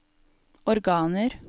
organer